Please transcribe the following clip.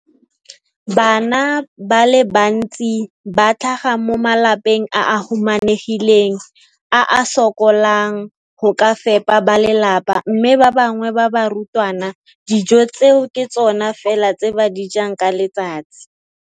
Bana ba le bantsi ba tlhaga mo malapeng a a humanegileng a a sokolang go ka fepa ba lelapa mme ba bangwe ba barutwana, dijo tseo ke tsona fela tse ba di jang ka letsatsi.